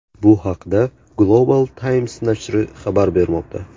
Bu haqda Global Times nashri xabar bermoqda.